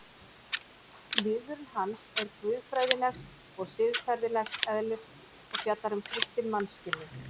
Viðvörun hans er guðfræðilegs og siðferðilegs eðlis og fjallar um kristinn mannskilning.